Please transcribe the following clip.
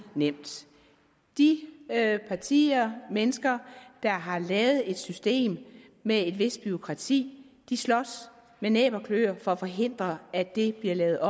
nemt de partier mennesker der har lavet et system med et vist bureaukrati slås med næb og kløer for at forhindre at det bliver lavet